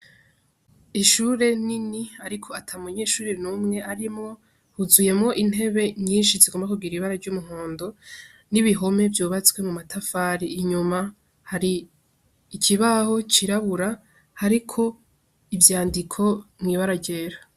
Ishure nini ariko atamunyeshure numwe arimwo huzuyemwo intebe nyinshi zigomba kugira ibara ry'umuhondo n'ibihome vyubatswe mu matafari, inyuma hari ikibaho cirabura hariko ivyandiko mu ibara ryera.